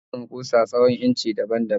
Ana samun kusa tsawon inci daban baban